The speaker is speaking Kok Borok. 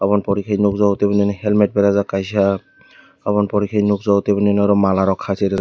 oboni pore nogjago tebo nini helmet berajak kaisa oboni pore ke tebol nini oro mala kaisajak.